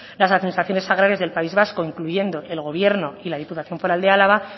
las administraciones agrarias del país vasco incluyendo el gobierno y la diputación foral de álava